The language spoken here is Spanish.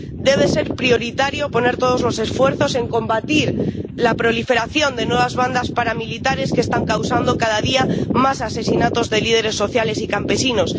Debe ser prioritario poner todos los esfuerzos en combatir la proliferación de nuevas bandas paramilitares, que están causando cada día más asesinatos de líderes sociales y campesinos.